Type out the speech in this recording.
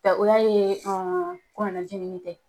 Nka o y'a ye kɔnɔnajigini tɛ.